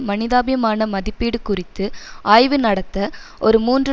மனிதாபிமான மதிப்பீடு குறித்து ஆய்வு நடத்த ஒரு மூன்று